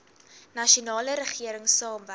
nasionale regering saamwerk